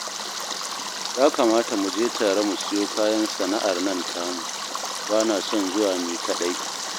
Ya kamata mu je tare mu siyo kayan sana'ar nan tamu, ba na son zuwa ni kaɗai